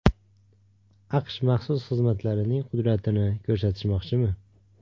AQSh maxsus xizmatlarining qudratini ko‘rsatishmoqchimi?